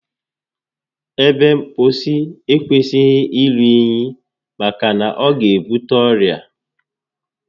Ebe mposi ekwesịghị iru únyí maka na ọ ga ebute ọrịa